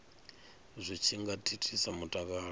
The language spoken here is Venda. zwi tshi nga thithisa mutakalo